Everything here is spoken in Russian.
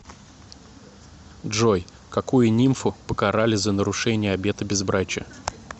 джой какую нимфу покарали за нарушение обета безбрачия